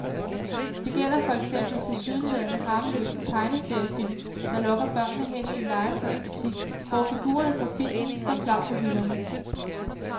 Det gælder for eksempel tilsyneladende harmløse tegneseriefilm, der lokker børnene hen i en legetøjsbutik, hvor figurerne fra filmen står klar på hylderne.